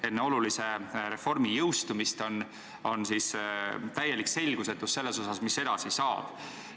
Enne olulise reformi jõustumist on täielik selgusetus selles osas, mis edasi saab.